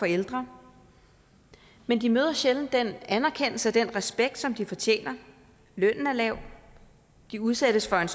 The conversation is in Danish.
ældre men de møder sjældent den anerkendelse og den respekt som de fortjener lønnen er lav de udsættes for en